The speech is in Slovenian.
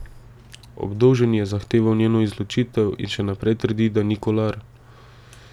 Obdolženi je zahteval njeno izločitev in še naprej trdi, da ni Kolar.